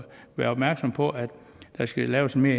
være opmærksom på at der skal laves en